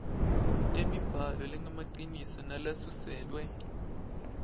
temibhalo lengemaciniso nalesuselwe